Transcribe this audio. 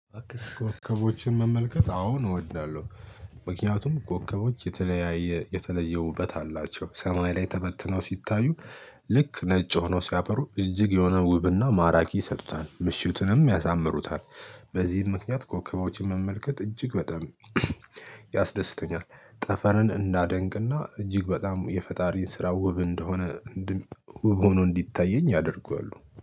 አክስ ኮከቦችን መመልከት አዎ ነው እወድላለሁ። ምክንያቱም ኮከቦች የተለያየ የተለየ ውበት አላቸው ሰማይ ላይ ተበትነው ሲታዩ ልክ ነጭ ሆኖ ሲያበሩ እጅግ የሆነ ውብና ማራኪ ይሰጡታል ምሽቱንም ያሳምሩታል። በዚህም ምክንያት ኮከቦችን መመልከት እጅግ በጣም ያስደስተኛል። ጠፈንን እንዳደንቅና እጅግ በጣም የፈጣሪን ስራ ውብ እንደሆነ ድቅ ውብ ሆኖ እንዲታየኝ ያደርገዋል